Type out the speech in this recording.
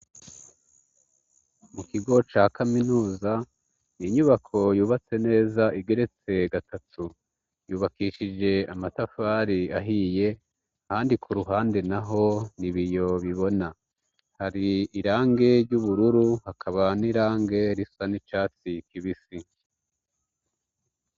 Mu kigo ca kaminuza inyubako yubatse neza igeretse gatatu yubakishije amatafari ahiye handi ku ruhande na ho ni ibiyo bibona hari irange ry'ubururu hakaba n'irange risa n'icatsi kibisi woga.